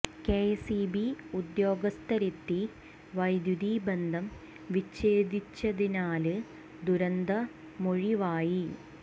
K S E B ഉദ്യോഗസ്ഥരെത്തി വൈദ്യുതി ബന്ധം വിഛേദിച്ചതിനാല് ദുരന്തമൊഴിവായി